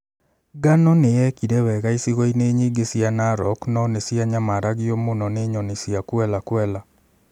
Ngano nĩ yekire wega icigo-inĩ nyingĩ cia Narok no nĩ cianyamaragio mũno nĩ nyoni cia Quelea Quelea.